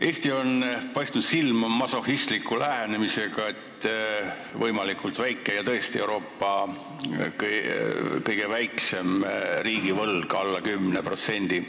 Eesti on paistnud silma masohhistliku lähenemisega, et võlg oleks võimalikult väike, ja tõesti, meil on Euroopa kõige väiksem riigivõlg, alla 10%.